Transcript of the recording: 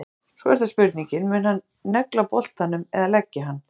Svo er það spurningin, mun hann negla boltanum eða leggja hann?